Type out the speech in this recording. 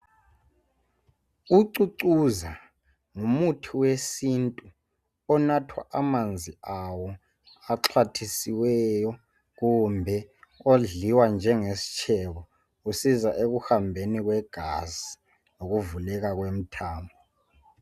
Ucucuza ngumuthi wesintu inathwa amanzi awo axhwathisiweyo kumbe odliwa njengesitshebo usiza ekumbeni kwegazi lokuvuleka kwemthambo